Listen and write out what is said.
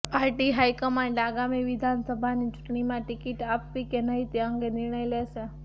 party high command આગામી વિધાનસભાની ચૂંટણીમાં ટિકિટ આપવી કે નહીં તે અંગે નિર્ણય લેશે